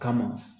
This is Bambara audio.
Kama